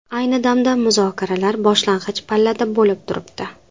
Ayni damda muzokaralar boshlang‘ich pallada bo‘lib turibdi.